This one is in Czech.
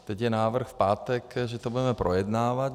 Teď je návrh v pátek, že to budeme projednávat.